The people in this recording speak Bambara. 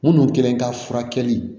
Minnu kɛlen ka furakɛli